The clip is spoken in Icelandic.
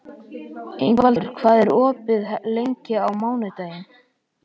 Ingvaldur, hvað er opið lengi á mánudaginn?